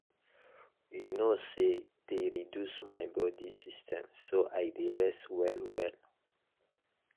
you know say dey reduce my body system so i dey rest well well.